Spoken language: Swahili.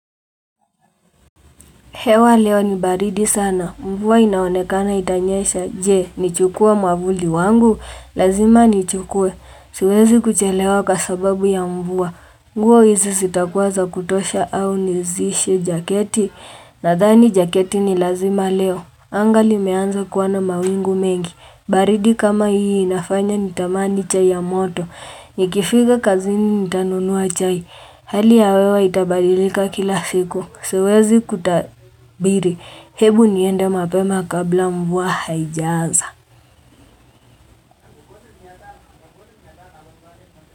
Hewa leo ni baridi sana. Mvua inaonekana itanyesha. Je, nichukue mavuli wangu? Lazima nichukue. Siwezi kuchelewa kwa sababu ya mvua. Nguo hizi zitakuwa za kutosha au nizishe jaketi? Nathani jaketi ni lazima leo. Anga limeanza kuwa na mawingu mengi. Baridi kama hii inafanya nitamani chai ya moto. Nikifika kazini nitanunua chai. Hali ya wewa itabadilika kila siku. Siwezi kutabiri. Hebu niende mapema kabla mvua haijaanza.